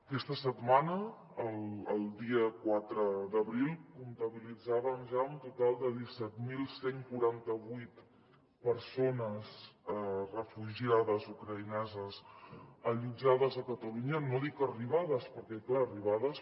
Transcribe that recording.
aquesta setmana el dia quatre d’abril comptabilitzàvem ja un total de disset mil cent i quaranta vuit persones refugiades ucraïneses allotjades a catalunya no dic arribades perquè clar arribades